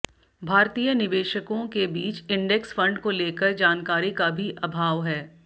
भारतीय निवेशकों के बीच इंडेक्स फंड को लेकर जानकारी का भी अभाव है